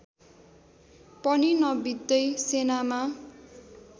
पनि नबित्दै सेनामा